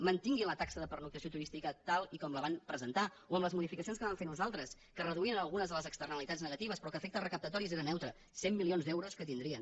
mantinguin la taxa de pernoctació turística tal com la van presentar o amb les modificacions que vam fer nosaltres que reduïen algunes de les externalitats negatives però que a efectes recaptatoris era neutra cent milions d’euros que tindrien